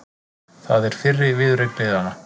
Það er fyrri viðureign liðanna